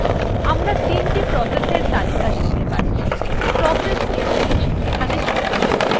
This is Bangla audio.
আমরা ৩the processএর তালিকা দেখতে পাচ্ছি process sh যুক্ত হয়েছে